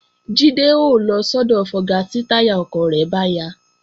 Jídé ó lọ sọ́dọ̀ fọga tí táyà ọkọ̀ rẹ̀ bá ya